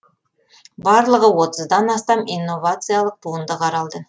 барлығы отыздан астам инновациялық туынды қаралды